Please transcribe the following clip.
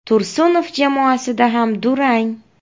Tursunov jamoasida ham durang.